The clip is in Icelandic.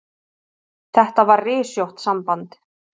Þetta var rysjótt samband.